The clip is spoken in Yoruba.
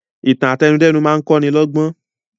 Ìtàn àtẹnudẹ́nu máa kọ́ ni lọ́gbọ́n